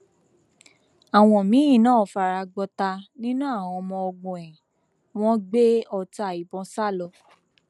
àwọn míín náà fara gbọta nínú àwọn ọmọ ogun ẹ wọn gbé ọta ìbọn sá lọ